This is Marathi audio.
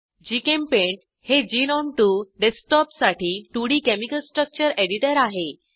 जीचेम्पेंट हे ग्नोम 2 डेस्कटॉपसाठी 2डी केमिकल स्ट्रक्चर एडिटर आहे